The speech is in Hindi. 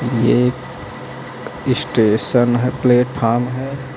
ये एक स्टेशन है प्लेटफार्म है।